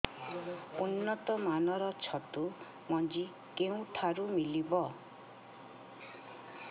ଉନ୍ନତ ମାନର ଛତୁ ମଞ୍ଜି କେଉଁ ଠାରୁ ମିଳିବ